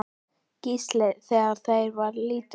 Gísla, þegar hann var lítill.